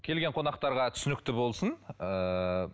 келген қонақтарға түсінікті болсын ыыы